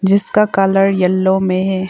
जिसका colour yellow में है।